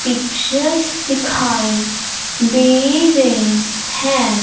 Pictures दिखाई दे रहे हैं।